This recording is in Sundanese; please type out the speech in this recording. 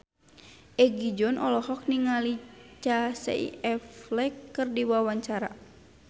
Egi John olohok ningali Casey Affleck keur diwawancara